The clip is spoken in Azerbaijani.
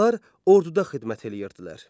Onlar orduda xidmət eləyirdilər.